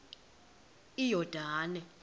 iyordane